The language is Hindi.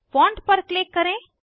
फोंट पर क्लिक करें